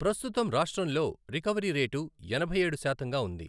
ప్రస్తుతం రాష్ట్రంలో recovery rate ఎనభైఏడు శాతంగా ఉంది.